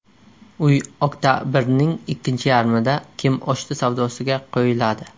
Uy oktabrning ikkinchi yarmida kimoshdi savdosiga qo‘yiladi.